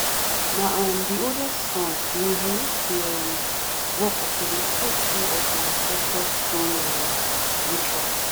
na um di oldest son dey inherit di um work of to dey take care of di ancestor stone um ritual.